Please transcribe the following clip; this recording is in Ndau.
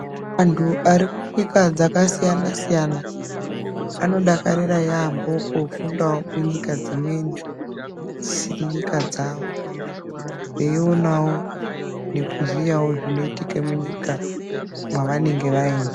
Vanthu vari kunyika dzakasiyana siyana anodakarira yaambo kufundao kunyika dzimweni dzisiri nyika dzao eionao nekuziyawo zviri kuitika munyika yavanenge vaenda.